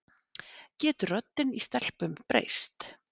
Getur röddin í stelpum breyst?